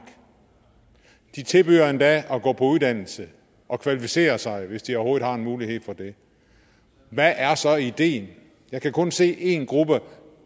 de tilbyder endda at gå på uddannelse og kvalificere sig hvis de overhovedet har en mulighed for det hvad er så ideen jeg kan kun se én gruppe